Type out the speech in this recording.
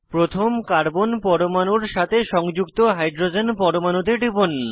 প্রথম কার্বন পরমাণুর সাথে সংযুক্ত হাইড্রোজেন পরমাণুতে টিপুন